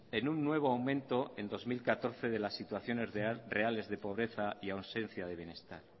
en un nuevo aumento en dos mil catorce de las situaciones reales de pobreza y ausencia de bienestar